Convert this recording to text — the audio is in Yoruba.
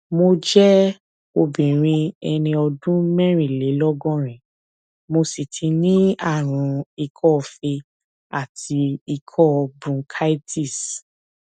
mo jẹ obìnrin ẹni ọdún mẹrìnlélọgọrin mo sì tí ní àrùn ikọọfe àti ikọ bronchitis